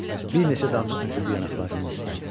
Bir neçə damcı töküldü yanaqlarının üstə.